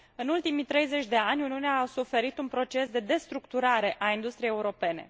În ultimii 30 de ani, Uniunea a suferit un proces de destructurare a industriei europene.